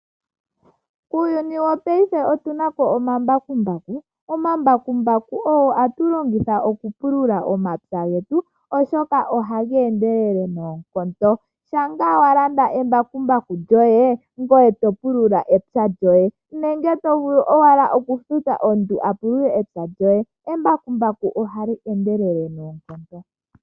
Uuyuni wopayife otunapo omambakumbaku. Omambakumbaku ogo hatu longitha oku pulula omapya getu oshoka ohaga endelele noonkondo. Shampa ngaa walanda embakumbaku lyoye, ngoye topulula epya lyoye, nenge tovulu owala okufuta omuntu apulule epya lyoye. Embakumbaku ohali endelele noonkondo.